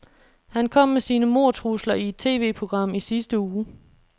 Han kom med sine mordtrusler i et TVprogram i sidste uge.